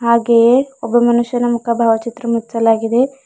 ಹಾಗೆಯೇ ಒಬ್ಬ ಮನುಷ್ಯನ ಮುಖದ ಭಾವಚಿತ್ರ ಮುಚಿಸಲಾಗಿದೆ.